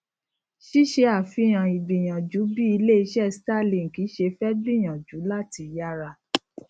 ṣíṣe àfihàn ìgbìyànjú bí ilé iṣé starlink ṣe fé gbìyànjú láti yára